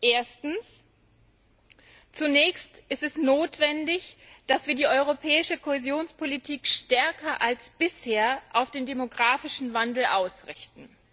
Erstens Zunächst ist es notwendig, dass wir die europäische Kohäsionspolitik stärker als bisher auf den demografischen Wandel ausrichten.